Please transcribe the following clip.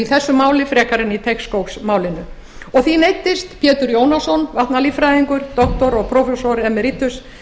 þessu máli frekar en í teigsskógsmálinu og því neyddist pétur jónasson vatnalíffræðingur doktor og prófessor